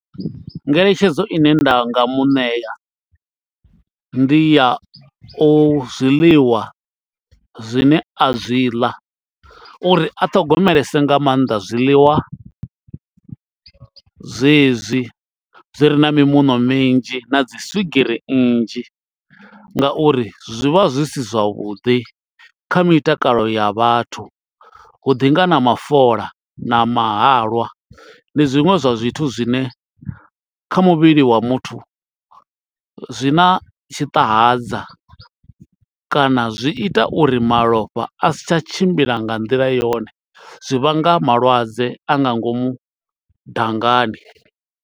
Ngeletshedzo i ne nda nga muṋea ndi ya u zwiḽiwa zwine a zwi ḽa uri a ṱhogomelese nga mannḓa zwiḽiwa zwezwi zwi re na mimuṋo minzhi na dzi swigiri nnzhi ngauri zwi vha zwi si zwavhuḓi kha mitakalo ya vhathu, hu ḓi nga na mafola na mahalwa ndi zwiṅwe zwa zwithu zwine kha muvhili wa muthu zwi na tshiṱahadza kana zwi ita uri malofha a si tsha tshimbila nga nḓila yone zwi vhanga malwadze a nga ngomu dangani.